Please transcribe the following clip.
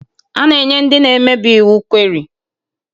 A na-enye ndị na-emebi iwu